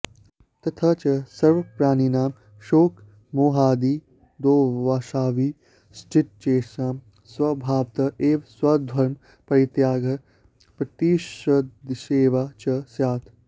तथा च सर्वप्राणिनां शोकमोहादिदोषाविष्टचेतसां स्वभावत एव स्वधर्मपरित्यागः प्रतिषिद्धसेवा च स्यात्